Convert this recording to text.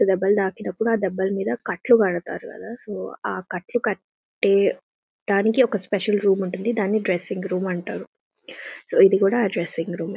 So దెబ్బలు ఆ దెబ్బలు మీద కట్లు కడతారు కదా సో ఆ కట్లు కట్టే డానికి ఒక స్పెసల్ రూమ్ ఉంటుంది దాన్ని డ్రెస్సింగ్ రూమ్ అంటారు సో ఇది కూడా ఆ డ్రెస్సింగ్ రూమే .